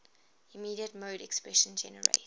immediate mode expression generates